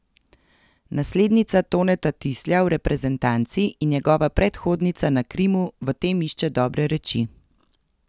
Naslednica Toneta Tislja v reprezentanci in njegova predhodnica na Krimu v tem išče dobre reči.